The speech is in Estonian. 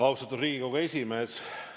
Austatud Riigikogu esimees!